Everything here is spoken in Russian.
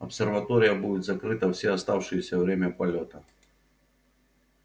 обсерватория будет закрыта всё оставшееся время полёта